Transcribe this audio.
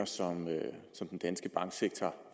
som den danske banksektor